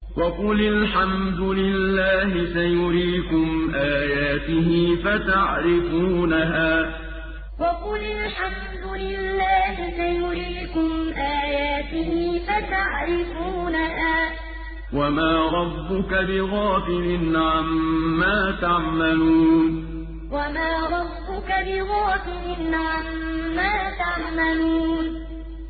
وَقُلِ الْحَمْدُ لِلَّهِ سَيُرِيكُمْ آيَاتِهِ فَتَعْرِفُونَهَا ۚ وَمَا رَبُّكَ بِغَافِلٍ عَمَّا تَعْمَلُونَ وَقُلِ الْحَمْدُ لِلَّهِ سَيُرِيكُمْ آيَاتِهِ فَتَعْرِفُونَهَا ۚ وَمَا رَبُّكَ بِغَافِلٍ عَمَّا تَعْمَلُونَ